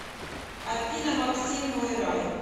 афина максим мой рай